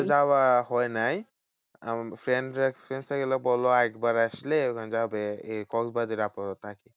যাওয়া হয় নাই। আমার friend রা গেলো বললো একবার আসলে যাবে এই কক্সবাজারে আপাতত।